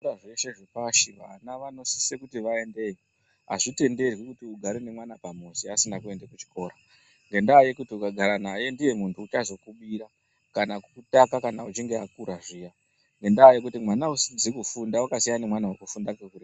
Zvikora zveshe zvepashi vana vanosisa kuti vaende Azvitwnderwi kuti ugare nemwana pamuzi asina kuenda kuchikora ngenda yekuti ukagara naye ndiye muntu uchazokubira kana kukapa kana uchinge wakura zviyani ngenda yekuti mwana asizi kufunda akasiyana nemwana afunda.